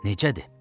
Necədir?